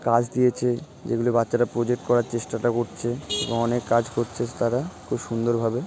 কাজ দিয়েছে যেগুলো বাচ্চারা প্রজেক্ট করার চেষ্টাটা করছে এবং অনেক কাজ করছে তারা খুব সুন্দরভাবে।